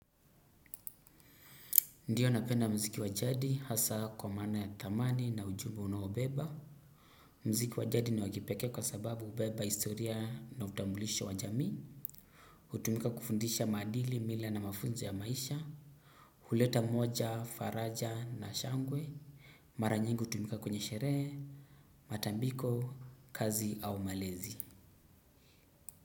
Ndiyo napenda mziki wajadi hasa kwa maana ya thamani na ujumbe unaobeba. Mziki wajadi ni wakipeke kwa sababu hubeba historia na utambulisho wa jamii. Utumika kufundisha maadili, mila na mafunzo ya maisha. Huleta moja, faraja na shangwe. Maranyingi hutumika kwenye sherehe, matambiko, kazi au malezi.